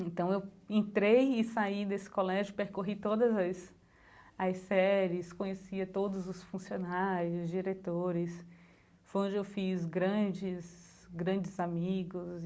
Então eu entrei e saí desse colégio, percorri todas as as séries, conhecia todos os funcionários, diretores, foi onde eu fiz grandes, grandes amigos.